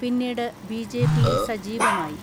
പിന്നീട് ബിജെപിയിൽ സജീ വമായി.